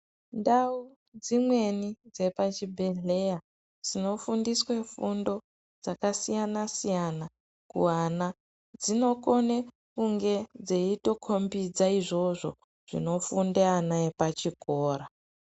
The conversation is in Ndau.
Ndau dzimweni dzepachi bhehleya dzino fundiswe fundo dzaka siyana siyana ku ana dzinokone kunge dzeito kombidza izvozvo zvino funda ana epa chikora.